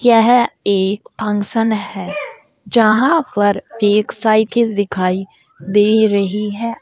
यह एक फंक्शन है जहां पर एक साइकिल दिखाई दे रही है।